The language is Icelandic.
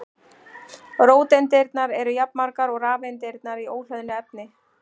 Róteindirnar eru jafnmargar og rafeindirnar í óhlöðnu efni.